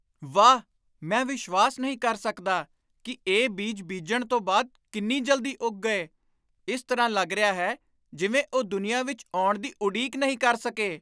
ਵਾਹ, ਮੈਂ ਵਿਸ਼ਵਾਸ ਨਹੀਂ ਕਰ ਸਕਦਾ ਕਿ ਇਹ ਬੀਜ ਬੀਜਣ ਤੋਂ ਬਾਅਦ ਕਿੰਨੀ ਜਲਦੀ ਉੱਘ ਗਏ। ਇਸ ਤਰ੍ਹਾਂ ਲੱਗ ਰਿਹਾ ਹੈ ਜਿਵੇਂ ਉਹ ਦੁਨੀਆ ਵਿੱਚ ਆਉਣ ਦੀ ਉਡੀਕ ਨਹੀਂ ਕਰ ਸਕੇ!